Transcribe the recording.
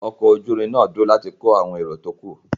Ọkọ̀ orí-irin náà dúró láti kó àwọn èro tó kù.